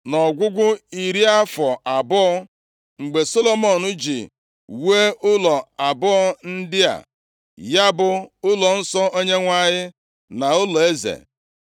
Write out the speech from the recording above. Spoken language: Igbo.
Nʼọgwụgwụ iri afọ abụọ, mgbe Solomọn ji wuo ụlọ abụọ ndị a, ya bụ ụlọnsọ Onyenwe anyị na ụlọeze.